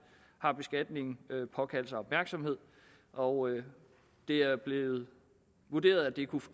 har beskatningen påkaldt sig opmærksomhed og det er blevet vurderet at det kunne